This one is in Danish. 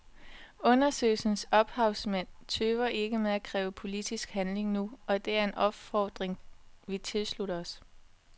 Undersøgelsens ophavsmænd tøver ikke med at kræve politisk handling nu, og det er en opfordring vi tilslutter os.